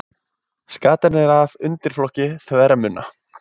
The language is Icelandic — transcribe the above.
Skatan er af undirflokki þvermunna.